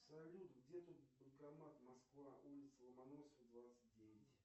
салют где тут банкомат москва улица ломоносова двадцать девять